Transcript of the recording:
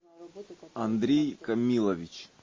андрей камилович